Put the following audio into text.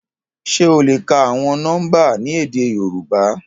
Ṣe o le ka awọn nọmba ni édé Yorùbá?